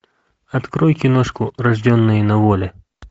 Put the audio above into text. открой киношку рожденные на воле